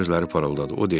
Tomun gözləri parıldadı.